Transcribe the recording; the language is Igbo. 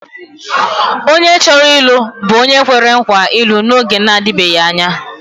Onye chọrọ ịlụ bụ onye kwere nkwa ịlụ n’oge na-adịbeghị anya.